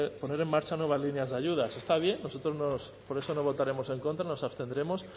poner en marcha nuevas líneas de ayudas está bien nosotros por eso no votaremos en contra nos abstendremos